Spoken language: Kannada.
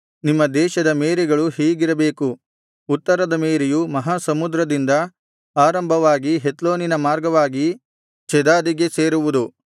ನಿಮ್ಮ ದೇಶದ ಮೇರೆಗಳು ಹೀಗಿರಬೇಕು ಉತ್ತರದ ಮೇರೆಯು ಮಹಾ ಸಮುದ್ರದಿಂದ ಆರಂಭವಾಗಿ ಹೆತ್ಲೋನಿನ ಮಾರ್ಗವಾಗಿ ಚೆದಾದಿಗೆ ಸೇರುವುದು